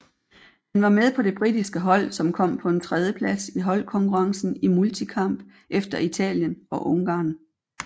Han var med på det britiske hold som kom på en tredjeplads i holdkonkurrencen i multikamp efter Italien og Ungarn